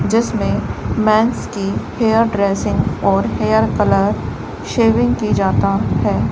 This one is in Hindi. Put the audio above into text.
जिसमें मेंस की हेयर ड्रेसिंग और हेयर कलर शेविंग की जाता है।